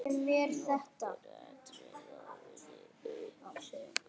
Nokkur atriði ráði uppsögn sinni.